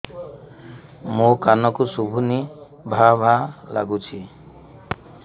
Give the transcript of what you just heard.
ମୋ କାନକୁ ଶୁଭୁନି ଭା ଭା ଲାଗୁଚି